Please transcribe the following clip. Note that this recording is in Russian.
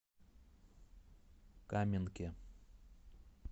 каменке